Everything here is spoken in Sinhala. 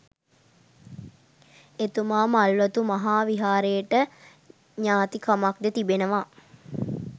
එතුමා මල්වතු මහා විහාරයට ඥාතිකමක්ද තිබෙනවා